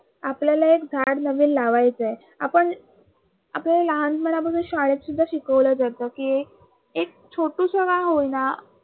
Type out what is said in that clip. आपल्याला एक झाडं नवीन लावायचं आहे. आपण आपल्याला लहानपणापासून हे शाळेत सुद्धा शिकवलं जातं कि एक छोटुस का होई ना